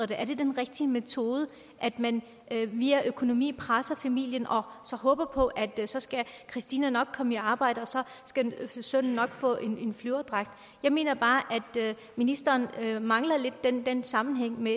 det er den rigtige metode at man via økonomien presser familien og så håber på at så skal christina nok komme i arbejde og så skal sønnen nok få en flyverdragt jeg mener bare at ministeren lidt mangler den sammenhæng i